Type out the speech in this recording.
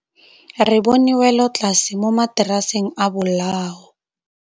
Re bone wêlôtlasê mo mataraseng a bolaô.